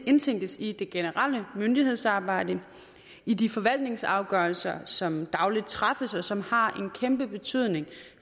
indtænkes i det generelle myndighedsarbejde i de forvaltningsafgørelser som dagligt træffes og som har en kæmpe betydning